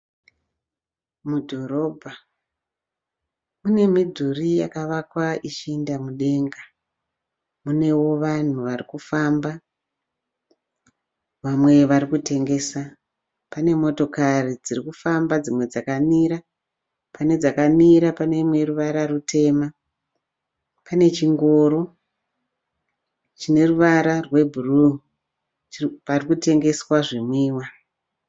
Mudhorobha, munemidhuri yakavaka ichienda mudenga. Unewo vanhu varikufamba vamwe varikutengesa. Pane motokari dzirikufamba, dzimwe dzakamira. Pane dzakamira pane ineruvara rutema. Pane chingoro chineruvara rwebhuruwu parikutengeswa zvinwiwa.